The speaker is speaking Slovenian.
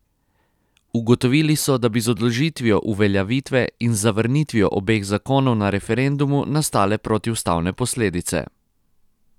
Ugotovili so, da bi z odložitvijo uveljavitve in z zavrnitvijo obeh zakonov na referendumu nastale protiustavne posledice.